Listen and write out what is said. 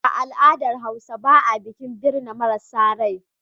A al'adar Hausawa ba a yin bikin birma mara rai.